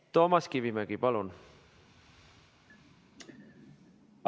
Toomas Kivimägi, palun!